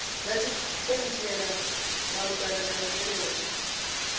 dza tshipentshela malugana na zwenezwo